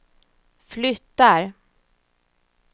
flyttar